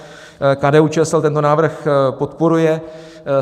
KDU-ČSL tento návrh podporuje.